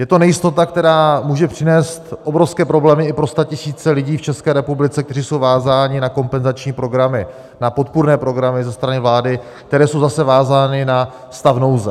Je to nejistota, která může přinést obrovské problémy i pro statisíce lidí v České republice, kteří jsou vázáni na kompenzační programy, na podpůrné programy ze strany vlády, které jsou zase vázány na stav nouze.